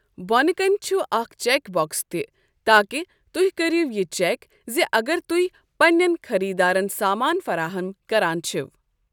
بۄنہٕ کَنہِ چھُ اکھ چیک باکس تہِ تاکہِ تُہۍ کٔرِو یہِ چیک زِ اگر تُہۍ پنِنٮ۪ن خٔریدارَن سامان فراہم کران چھِو۔